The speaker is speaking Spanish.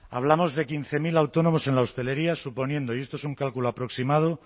hablamos de quince mil autónomos en la hostelería suponiendo y esto es un cálculo aproximado